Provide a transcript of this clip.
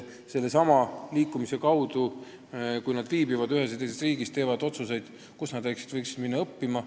Kui nad viibivad lapsehoidjana ühes või teises riigis, teevad nad seal ka otsuseid, kuhu nad võiksid minna edasi õppima.